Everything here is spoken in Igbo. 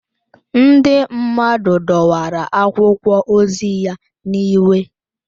Ndị mmadụ dọwara akwụkwọ ozi ya n'iwe